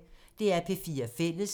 DR P4 Fælles